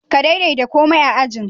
Ka daidatarkomai a'ajian.